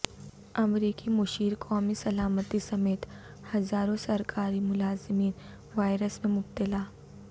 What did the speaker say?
امریکی مشیر قومی سلامتی سمیت ہزاروں سرکاری ملازمین وائرس میں مبتلا